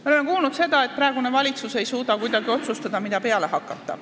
Me oleme kuulnud, et praegune valitsus ei suuda kuidagi otsustada, mida peale hakata.